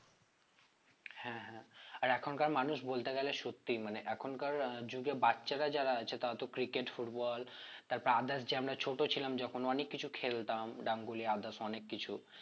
হ্যাঁ হ্যাঁ আর এখনকার মানুষ বলতে গেলে সত্যি মানে এখনকার যুগে বাচ্ছারা যারা আছে তারা তো cricket football তারপর others যে আমরা ছোট ছিলাম যখন অনেক কিছু খেলতাম ডাঙ্গুলি others অনেক কিছু